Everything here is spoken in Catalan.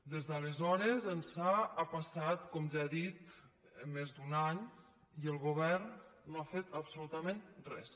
des d’aleshores ençà ha passat com ja he dit més d’un any i el govern no ha fet absolutament res